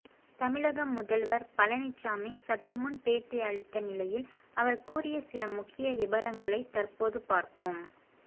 தமிழக முதல்வர் பழனிசாமி சற்றுமுன் பேட்டி அளித்த நிலையில் அவர் கூறிய சில முக்கிய விபரங்களை தற்போது பார்ப்போம்